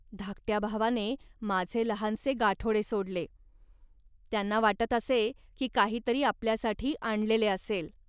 धाकट्या भावाने माझे लहानसे गाठोडे सोडले. त्यांना वाटत असते, की काही तरी आपल्यासाठी आणलेले असेल